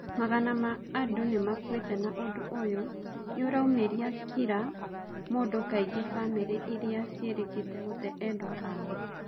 Magana ma andũ nimakûite na ũndũ ũyũ niũraũmiria kira mũndũ kaingi famiri iria cirikitie gũtee endwa ao.